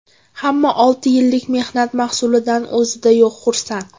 Hamma olti yillik mehnat mahsulidan o‘zida yo‘q xursand.